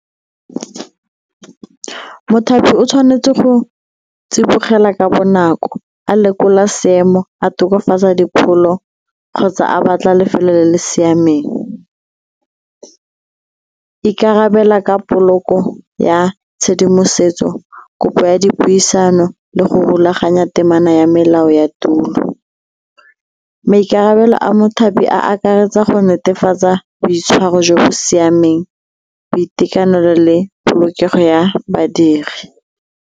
Mothapi o tshwanetse go tsibogela ka bonako a lekola seemo, a tokafatsa dipholo kgotsa a batla lefelo le le siameng, ikarabela ka poloko ya tshedimosetso, kopo ya dipuisano le go rulaganya temana ya melao ya tulo. Maikarabelo a mothapi a akaretsa go netefatsa boitshwaro jo bo siameng, boitekanelo le polokego ya badiri.